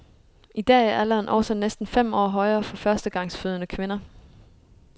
I dag er alderen altså næsten fem år højere for førstegangsfødende kvinder.